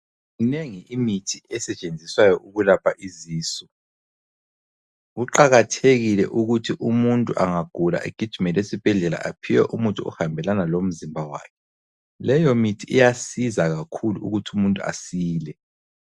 Minengi imithi esetshenziswayo ukulapha izisu, kuqakathekile ukuthi umuntu angagula egiijimele esibhedlela ephiwe umuthi ohambelana lomzimba wakhe. Leyo mithi iyasiza kakhulu ukuthi umuntu asile.